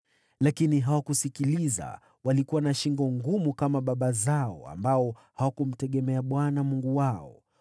Lakini hawakusikiliza, walikuwa na shingo ngumu kama baba zao, ambao hawakumtegemea Bwana Mungu wao.